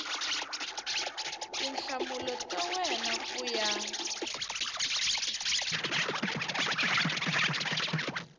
tinhlamulo ta wena ku ya